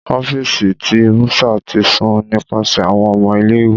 Ọfiisi ti bursar ti sun nipasẹ awọn ọmọ ile-iwe.